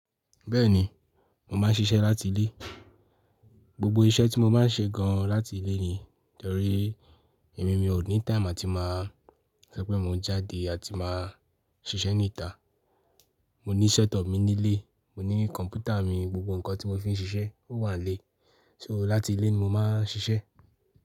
Bẹ́ẹ̀ni, mo máa ń ṣiṣẹ́ láti ilé. Gbogbo iṣẹ́ tí mo máa ń ṣe gan láti ilé ni torí èmi mi ò ní time àti máa sọ pé mo ń jáde àti máa ṣiṣẹ́ ní ìta. Mo ní set up mi nílé, mo ní kọ̀npútà mi, gbogbo ǹkan tí mo fi ń ṣiṣẹ́ ó wà nílé. So láti ilé ni mo máa ń ṣiṣẹ́.